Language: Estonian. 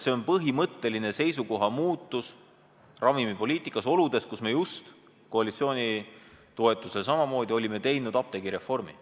See on põhimõtteline seisukoha muutus ravimipoliitikas, oludes, kus me just olime koalitsiooni toetusel teinud apteegireformi.